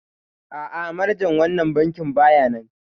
A'a manajan wannan bankin baya nan